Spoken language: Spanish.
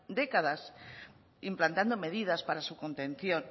décadas implantando medidas para su contención